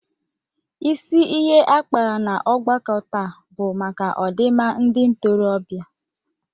Isi ihe a kpara n'ọgbakọ taa bụ maka ọdịmma ndị ntorobịa.